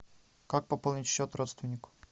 как пополнить счет родственнику